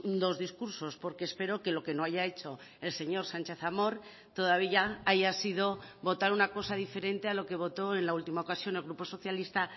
dos discursos porque espero que lo que no haya hecho el señor sánchez amor todavía haya sido votar una cosa diferente a lo que votó en la última ocasión el grupo socialista